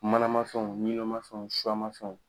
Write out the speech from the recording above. Manama fɛnw ma fɛnw ma fɛnw.